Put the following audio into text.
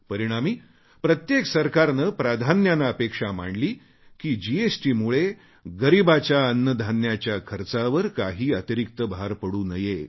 परिणामी प्रत्येक सरकारने प्राधान्याने अपेक्षा मांडली की जीएसटीमुळे गरीबाच्या अन्नधान्याच्या खर्चावर काही अतिरीक्त भार पडू नये